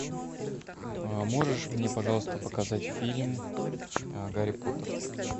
можешь мне пожалуйста показать фильм гарри поттер